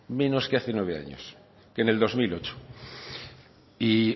menos que hace nueve años que en el dos mil ocho y